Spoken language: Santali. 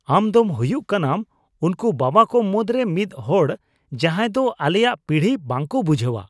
ᱟᱢ ᱫᱚᱢ ᱦᱩᱭᱩᱜ ᱠᱟᱱᱟᱢ ᱩᱱᱠᱩ ᱵᱟᱵᱟ ᱠᱚ ᱢᱩᱫᱽᱨᱮ ᱢᱤᱫ ᱦᱚᱲ ᱡᱟᱦᱟᱸᱭ ᱫᱚ ᱟᱞᱮᱭᱟᱜ ᱯᱤᱲᱦᱤ ᱵᱟᱠᱚ ᱵᱩᱡᱷᱟᱹᱣᱟ ᱾